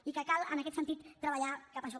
i cal en aquest sentit treballar cap a això